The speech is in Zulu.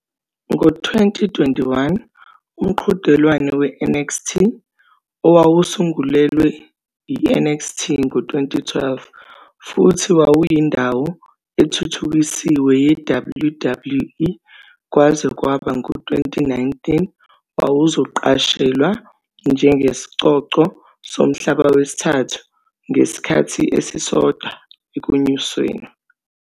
Ngo-2021, umqhudelwano we- NXT, owawusungulelwe i- NXT ngo-2012, futhi wawuyindawo ethuthukisiwe ye-WWE kwaze kwaba ngu-2019, wawuzoqashelwa njengesicoco somhlaba wesithathu ngesikhathi esisodwa ekunyusweni.